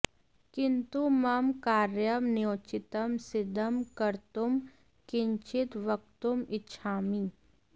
किन्तु मम कार्यं न्योचितं सिद्धं कर्तुं किञ्चित् वक्तुम् इच्छामि